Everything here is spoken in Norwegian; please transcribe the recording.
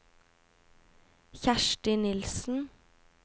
Kjersti Nilsen